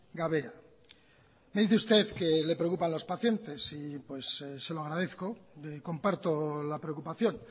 gabe me dice usted que le preocupan los pacientes y pues se lo agradezco comparto la preocupación